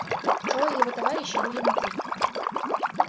трое его товарищей были внутри